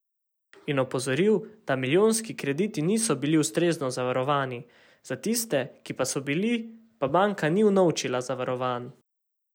In opozoril, da milijonski krediti niso bili ustrezno zavarovani, za tiste, ki pa so bili, pa banka ni unovčila zavarovanj.